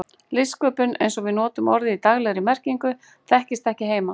Listsköpun, eins og við notum orðið í daglegri merkingu, þekktist ekki heima.